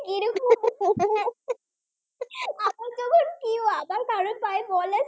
তাই বলে